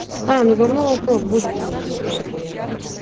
а ну гавно вопрос будет тебе телефон ахуенный